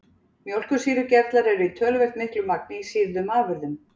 Mjólkursýrugerlar eru í töluvert miklu magni í sýrðum afurðum.